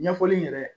Ɲɛfɔli yɛrɛ